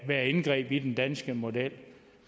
være et indgreb i den danske model